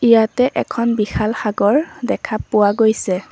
ইয়াতে এখন বিশাল সাগৰ দেখা পোৱা গৈছে।